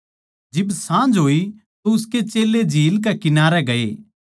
जिब साँझ होई तो उसके चेल्लें झील कै किनारै गए